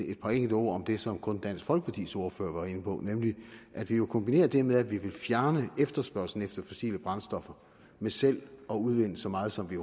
et par enkelte ord om det som kun dansk folkepartis ordfører var inde på nemlig at vi jo kombinerer det med at vi vil fjerne efterspørgslen efter fossile brændstoffer med selv at udvinde så meget som vi